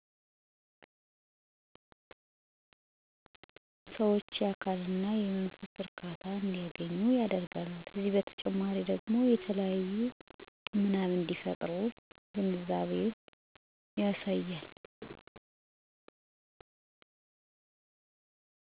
1. የአካልና የአዕምሮ ጤናማ ማረጋገጥ መዝናኛ ቦታዎች እንደ ፓርኮች፣ የስፖርት መስኮች እና የመናፈሻ ቦታዎች ሰዎችን በአካላዊ እና በአምሮአዊ እንቅስቃሴ እንዲኖራቸው ያደርጋል 2. የማህበራዊ ግንኙነት መጠናከር መዝናኛ ቦታዎች ሰዎችን፣ ከቤተሰቦቻቸው፣ ከጓደኞቻቸው፣ ከወዳጅ ዘመዶቻቸው ጋር እንደገናኙ ያደርጋሉ 3. የልጆች እና ወጣቶች እድገት መከታተል ተመጣጣኝ መዝናኛ ቦታዎች ለልጆች የፈጠራ፣ የስልጠና እና የባህላዊ ተግባር እድል ይፈጥራል። ይህም እውቀት፣ ብልህነትና ታማኝ ማህበረሰብን ለመፍጠር አስፈላጊው